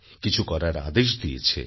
কিছু করার আদেশ দিয়েছে